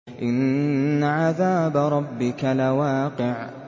إِنَّ عَذَابَ رَبِّكَ لَوَاقِعٌ